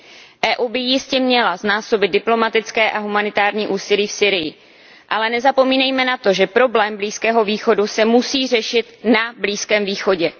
Evropská unie by jistě měla znásobit diplomatické a humanitární úsilí v Sýrii, ale nezapomínejme na to, že problém Blízkého východu se musí řešit na Blízkém východě.